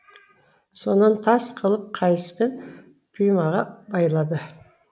сонан тас қылып қайыспен пимаға байлады